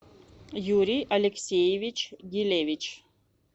юрий алексеевич елевич